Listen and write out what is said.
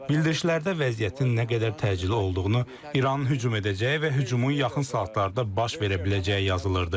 Bildirişlərdə vəziyyətin nə qədər təcili olduğunu, İranın hücum edəcəyi və hücumun yaxın saatlarda baş verə biləcəyi yazılırdı.